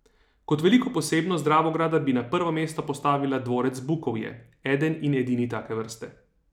Kot veliko posebnost Dravograda bi na prvo mesto postavila dvorec Bukovje, eden in edini take vrste.